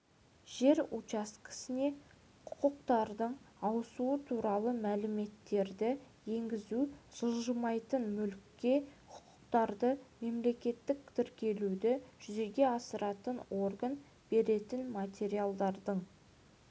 жер учаскесіне құқықтардың ауысуы туралы мәліметтерді енгізу жылжымайтын мүлікке құқықтарды мемлекеттік тіркеуді жүзеге асыратын орган беретін материалдардың